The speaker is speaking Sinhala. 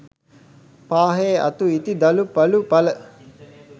පාහේ අතු ඉති දළු පලු පල